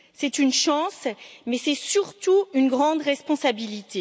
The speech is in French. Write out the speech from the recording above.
C'est une chance, mais c'est surtout une grande responsabilité.